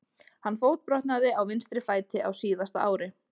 Hann fótbrotnaði á vinstri fæti á síðasta ári.